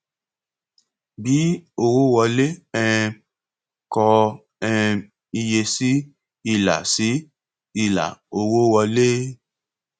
bí owó wọlé um kọ um iye sí ilà sí ilà owó wọlé